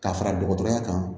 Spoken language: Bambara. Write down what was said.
Ka fara dɔgɔtɔrɔya kan